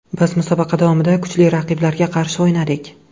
Biz musobaqa davomida kuchli raqiblarga qarshi o‘ynadik.